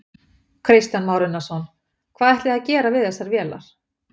Kristján Már Unnarsson: Hvað ætlið þið að gera við þessar vélar?